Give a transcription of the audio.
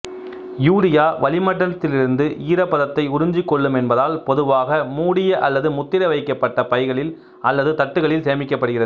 urea வளிமண்டலத்திலிருந்து ஈரப்பதத்தை உறிஞ்சிக் கொள்ளும் என்பதால் பொதுவாக மூடிய அல்லது முத்திரை வைக்கப்பட்ட பைகளில் அல்லது தட்டுகளில் சேமிக்கப்படுகிறது